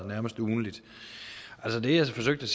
nærmest ugentligt det jeg forsøgte